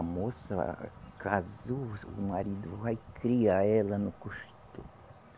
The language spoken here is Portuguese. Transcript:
A moça, casou, o marido vai criar ela no costume.